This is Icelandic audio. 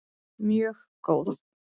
Mjög góð